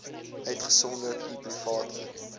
uitgesonderd u private